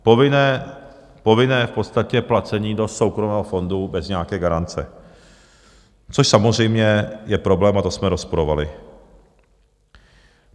Povinné v podstatě placení do soukromého fondu bez nějaké garance, což samozřejmě je problém, a to jsme rozporovali.